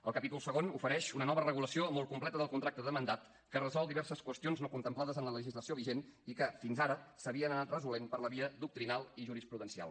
el capítol segon ofereix una nova regulació molt completa del contracte de mandat que resol diverses qüestions no contemplades en la legislació vigent i que fins ara s’havien anat resolent per la via doctrinal i jurisprudencial